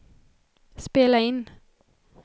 spela in